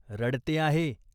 रडते आहे.